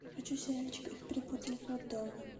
хочу сериальчик их перепутали в роддоме